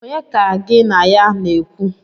Onye ka gin a ya na-ekwu?